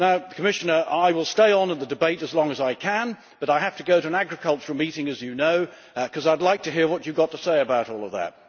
Commissioner, I will stay on in the debate as long as I can but I have to go to an agricultural meeting, as you know because I would like to hear what you have got to say about all of that.